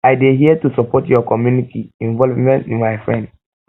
i dey here to support your community involvement my friend